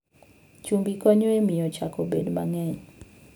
Chumbi konyo e miyo chak obed mang'eny.